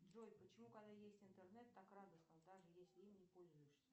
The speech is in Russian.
джой почему когда есть интернет так радостно даже если им не пользуешься